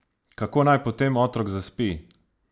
Kako naj potem otrok zaspi?